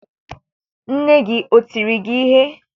Nne gị o tiri gị ihe?